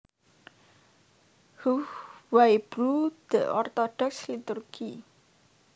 Hugh Wybrew The Orthodox Liturgy